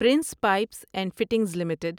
prince pipes and fittings limited